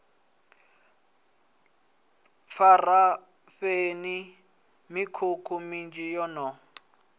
pharafeni mikhukhu minzhi yo no